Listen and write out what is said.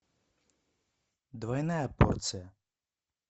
двойная порция